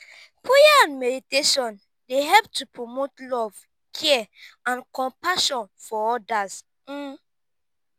prayer and meditation dey help to promote love care and compassion for odas.